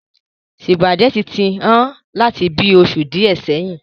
Sùpàgẹ́tì ti hán láti bíi oṣù díè sẹyìn.